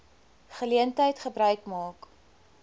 geleentheid gebruik maak